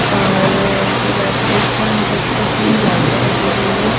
और जो battery rickshaw है उनके ऊपर तीन लाइटें लगी हुई है|